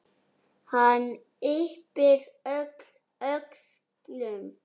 Hann yppir öxlum.